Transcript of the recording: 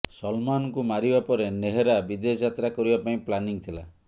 ସଲମାନଙ୍କୁ ମାରିବା ପରେ ନେହରା ବିଦେଶ ଯାତ୍ରା କରିବା ପାଇଁ ପ୍ଲାନିଂ ଥିଲା